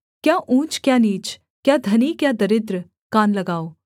क्या ऊँच क्या नीच क्या धनी क्या दरिद्र कान लगाओ